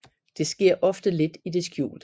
Det sker ofte lidt i det skjulte